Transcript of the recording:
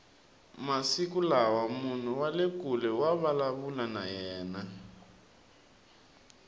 masiku lawa munhu wale kule wa vulavula na yena